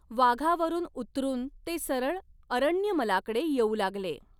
वाघावरुन उतरुन ते सरळ अरण्यमलाकडे येउ लागले.